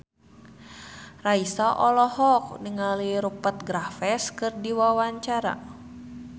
Raisa olohok ningali Rupert Graves keur diwawancara